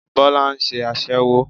Bólá nse aṣẹ́wó